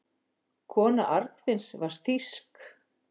Kona Arnfinns var þýsk.